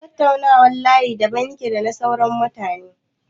Tattaunawar ƴan layi daban yake da na sauran mutane.